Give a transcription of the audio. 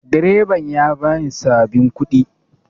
Direban ya bani sabin kuɗi